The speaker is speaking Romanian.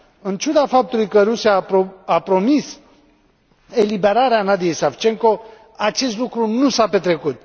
În ciuda faptului că Rusia a promis eliberarea Nadiyei Savchenko, acest lucru nu s a petrecut.